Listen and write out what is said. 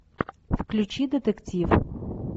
включи детектив